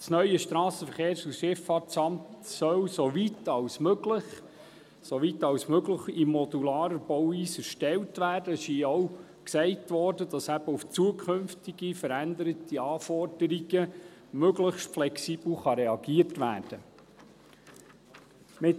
Das neue SVSA soll soweit als möglich – soweit als möglich – in modularer Bauweise erstellt werden – das wurde hier auch gesagt –, damit eben auf zukünftige, veränderte Anforderungen möglichst flexibel reagiert werden kann.